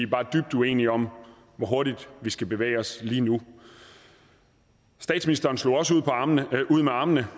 bare dybt uenige om hvor hurtigt vi skal bevæge os lige nu statsministeren slog også ud med armene